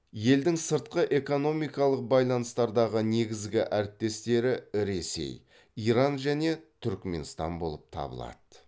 елдің сыртқы экономикалық байланыстардағы негізгі әріптестері ресей иран және түрікменстан болып табылады